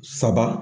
Saba